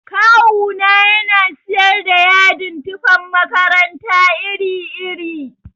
Kawu na yana siyar da yadin tufan makaranta iri iri.